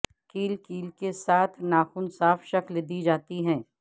کیل کیل کے ساتھ ناخن صاف شکل دی جاتی ہے